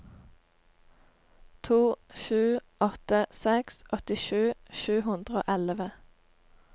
to sju åtte seks åttisju sju hundre og elleve